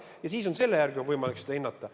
Ja siis on selle järgi võimalik seda hinnata.